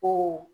Ko